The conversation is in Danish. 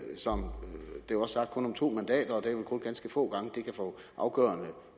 som sagt kun om to mandater det kun ganske få gange de kan få afgørende